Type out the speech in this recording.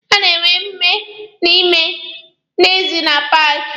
A na-enwe omume n'ime na n'ezi na paaki.